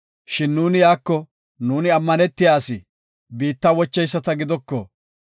Shin nuuni iyako, ‘Nuuni ammanetiya asi, biitta wocheyisata gidoko.